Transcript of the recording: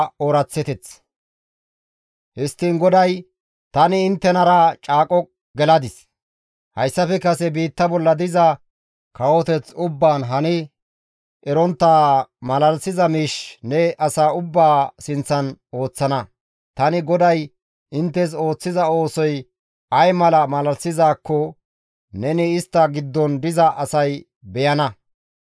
Histtiin GODAY, «Tani inttenara caaqo geladis; hayssafe kase biitta bolla diza kawoteth ubbaan hani erontta malalisiza miish ne asa ubbaa sinththan ooththana; tani GODAY inttes ooththiza oosoy ay mala malalisizaazakko neni istta giddon diza asay beyana.